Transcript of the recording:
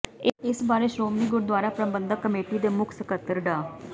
ਇਸ ਬਾਰੇ ਸ਼੍ਰੋਮਣੀ ਗੁਰਦੁਆਰਾ ਪ੍ਰਬੰਧਕ ਕਮੇਟੀ ਦੇ ਮੁੱਖ ਸਕੱਤਰ ਡਾ